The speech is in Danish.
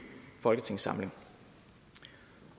folketingssamling